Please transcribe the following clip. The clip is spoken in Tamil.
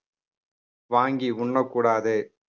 வாங்கி உண்ணக்கூடாது